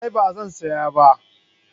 A'a ba zan saya ba